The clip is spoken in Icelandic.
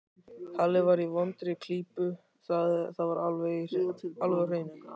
Halli var í vondri klípu, það var alveg á hreinu.